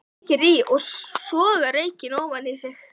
Kveikir í og sogar reykinn ofan í sig.